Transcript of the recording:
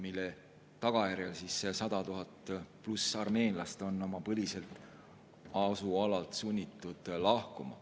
Selle tagajärjel on 100 000 pluss armeenlast olnud sunnitud oma põliselt asualalt lahkuma.